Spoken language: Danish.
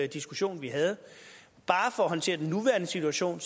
diskussion vi havde bare for at håndtere den nuværende situation